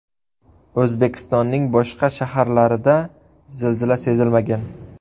O‘zbekistonning boshqa shaharlarida zilzila sezilmagan.